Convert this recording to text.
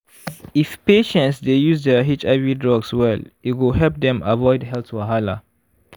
if patients dey use their hiv drugs well e go help dem avoid health wahala.